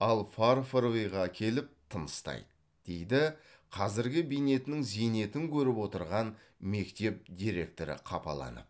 ал фарфоровыйға келіп тыныстайды дейді қазіргі бейнетінің зейнетін көріп отырған мектеп директоры қапаланып